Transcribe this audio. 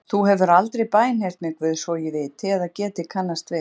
Þú hefur aldrei bænheyrt mig Guð svo ég viti eða geti kannast við.